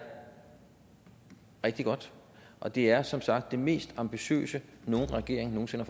rigtig godt og det er som sagt det mest ambitiøse nogen regering nogen sinde